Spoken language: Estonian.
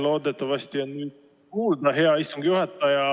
Loodetavasti on mind nüüd kuulda, hea istungi juhataja.